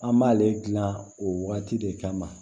An b'ale dilan o wagati de kama